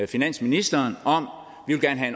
finansministerens om